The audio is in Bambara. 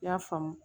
I y'a faamu